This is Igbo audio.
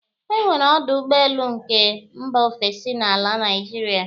E nwere ọdụ ụgbọelu nke mba ofesi n'ala Naịjirịa